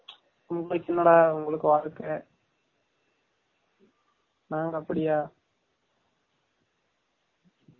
உங்கலுக்கு என்ன டா உங்கலுக்கு வால்கை, நாங்க அப்டியா